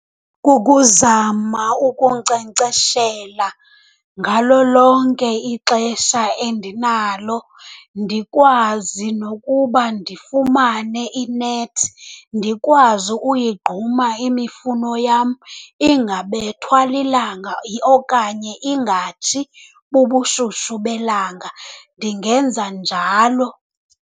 Kukuzama ukunkcenkceshela ngalo lonke ixesha endinalo, ndikwazi nokuba ndifumane inethi ndikwazi uyigquma imifuno yam ingabethwa lilanga okanye ingatshi bubushushu belanga. Ndingenza njalo.